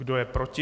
Kdo je proti?